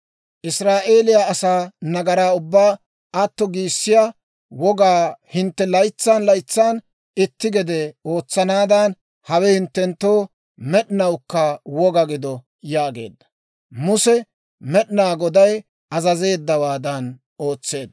Israa'eeliyaa asaa nagaraa ubbaa atto giissiyaa wogaa hintte laytsan laytsan itti gede ootsanaadan, hawe hinttenttoo med'inawukka woga gido» yaageedda. Muse Med'inaa Goday azazeeddawaadan ootseedda.